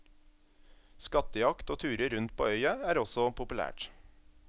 Skattejakt og turer rundt på øya er også populært.